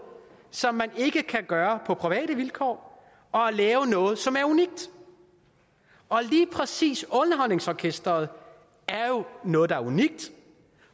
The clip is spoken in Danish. som man ikke kan gøre på private vilkår og at lave noget som er unikt lige præcis dr underholdningsorkestret er jo noget der er unikt